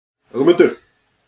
Ögmundur